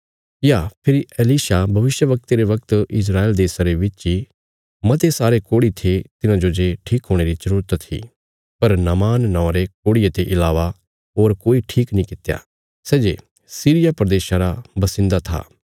या फेरी एलीशा भविष्यवक्ते रे बगत इस्राएल देशा रे विच इ मते सारे कोढ़ी थे तिन्हाजो जे ठीक हुणे री जरूरत थी पर नामान नौआं रे कोढ़िये ते इलावा होर कोई ठीक नीं कित्या सै जे सीरिया प्रदेशा रा बसिन्दा था